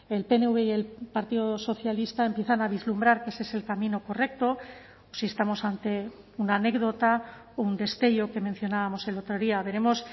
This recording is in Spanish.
el pnv y el partido socialista empiezan a vislumbrar que ese es el camino correcto o si estamos ante una anécdota un destello que mencionábamos el otro día veremos